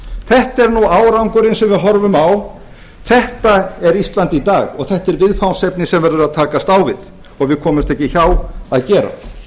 þetta er árangurinn sem við horfum á þetta er ísland í dag og þetta er viðfangsefni sem verður að takast á við og við komumst ekki hjá að gera